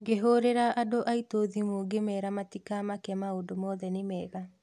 Ngĩhũrĩra andũ aitũ thimũ ngĩmera matika make maũndũ mothe nĩ mega.